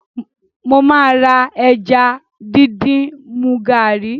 Mo máa ra ẹja díndín mu gàárì